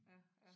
Ja ja